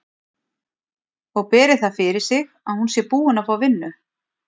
Og beri það fyrir sig að hún sé búin að fá vinnu.